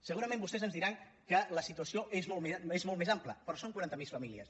segurament vostès ens diran que la situació és molt més ampla però són quaranta miler famílies